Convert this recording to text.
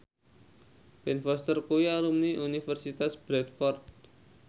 Ben Foster kuwi alumni Universitas Bradford